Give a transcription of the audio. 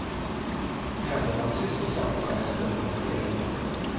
Händerna sysselsatte sig en stund med temuggen.